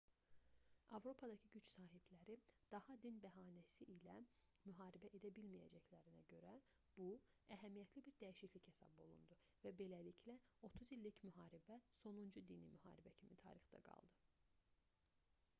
avropadakı güc sahibləri daha din bəhanəsi ilə müharibə edə bilməyəcəklərinə görə bu əhəmiyyətli bir dəyişiklik hesab olundu və beləliklə otuz i̇llik müharibə sonuncu dini müharibə kimi tarixdə qaldı